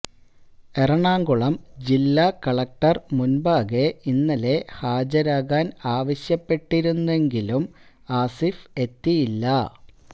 എറണാകുളം ജില്ലാ കളക്ടർ മുൻപാകെ ഇന്നലെ ഹാജരാകാൻ ആവശ്യപ്പെട്ടിരുന്നെങ്കിലും ആസിഫ് എത്തിയില്ല